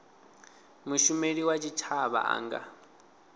mushumeli wa tshitshavha a nga